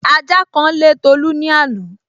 Ajá kan lé Tolu ní àná